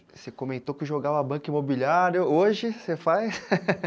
Você comentou que jogava banca imobiliário, hoje você faz?